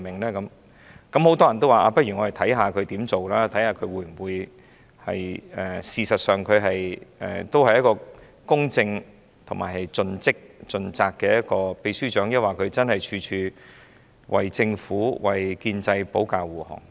很多人也表示，且看看他怎樣工作，看看他事實上會否成為公正、盡職盡責的秘書長，抑或處處為政府、建制派保駕護航。